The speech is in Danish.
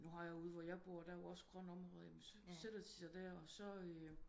Nu har ude hvor jeg bor der er jo også grønne områder jamen så sætter de sig der og så